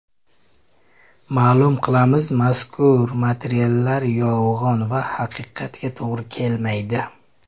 Ma’lum qilamiz, mazkur materiallar yolg‘on va haqiqatga to‘g‘ri kelmaydi.